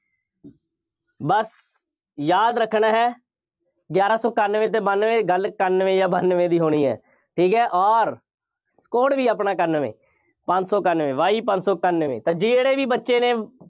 ਬਸ ਯਾਦ ਰੱਖਣਾ ਹੈ। ਗਿਆਰਾਂ ਸੌ ਇਕਾਨਵੇਂ ਅਤੇ ਬਾਨਵੇਂ, ਗੱਲ ਇਕਾਨਵੇਂ ਜਾਂ ਬਾਨਵੇਂ ਦੀ ਹੋਣੀ ਹੈ। ਠੀਕ ਹੈ, ਔਰ code ਵੀ ਆਪਣਾ ਇਕਾਨਵੇਂ, ਪੰਜ ਸੌ ਇਕਾਨਵੇਂ, ਬਾਈ ਪੰਜ ਸੌ ਇਕਾਨਵੇਂ, ਤਾਂ ਜਿਹੜੇ ਵੀ ਬੱਚੇ ਨੇ